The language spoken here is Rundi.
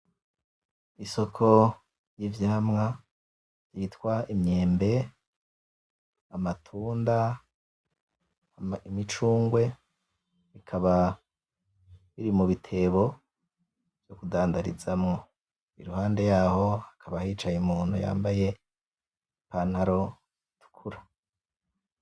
Isoko y'ivyamwa vyitwa Imyembe, Amatunda, Imicungwe bikaba biri mubitebo badandarizamwo impande yaho hicaye Umuntu yambaye ipantaro itukura.